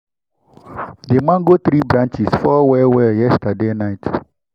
the mango tree branches fall well well yesterday night.